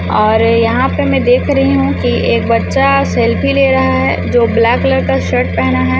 और यहां पे मैं देख रही हूं कि एक बच्चा सेल्फ़ी ले रहा है जो ब्लैक कलर का शर्ट पेहना है।